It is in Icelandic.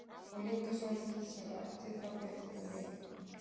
Og límdi svo nýtt sem ætti þá betur við mig.